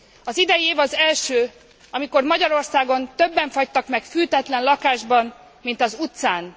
Az idei év az első, amikor Magyarországon többen fagytak meg fűtetlen lakásban, mint az utcán.